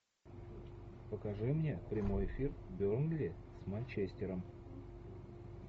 покажи мне прямой эфир бернли с манчестером